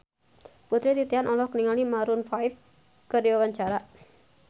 Putri Titian olohok ningali Maroon 5 keur diwawancara